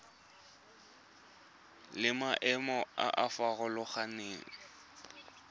le maemo a a farologaneng